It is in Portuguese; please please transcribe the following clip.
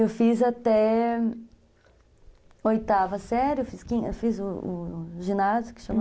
Eu fiz até oitava série, fiz o o ginásio, que chama...